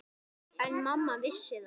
En mamma vissi það.